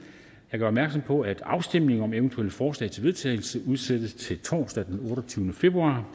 gør opmærksom på at afstemning om eventuelle forslag til vedtagelse udsættes til torsdag den otteogtyvende februar